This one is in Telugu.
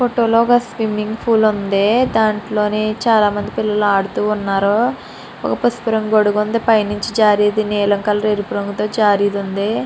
ఫోటో లో స్విమమింగ్ ఫుల్ ఉంది ధాటీలోని చాలా మంది పిల్లలు ఆడుతూ ఉన్నారు ఒక పసుపు రంగు గొడుగు ఉంది పై నించి జారేది నీలం కలర్ ఎరుపు రంగు తో జారేది ఉంది.